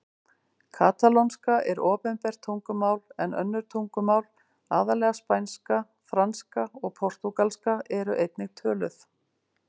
Katalónska er opinbert tungumál en önnur tungumál, aðallega spænska, franska og portúgalska, eru einnig töluð.